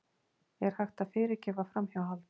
Er hægt að fyrirgefa framhjáhald?